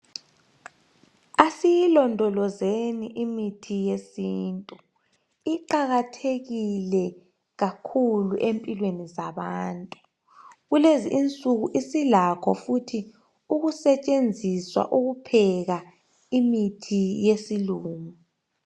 Asiyilondolozeni imithi yesintu. Iqakathekile kakhulu empilweni zabantu. Kulezi insuku isilakho futhi ukusetshenziswa ukupheka imithi yesilungu.